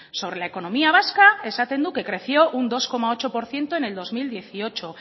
sobre la economía vasca esaten du que creció un dos coma ocho por ciento en el dos mil dieciocho